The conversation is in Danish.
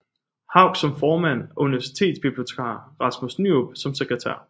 Hauch som formand og universitetsbibliotekar Rasmus Nyerup som sekretær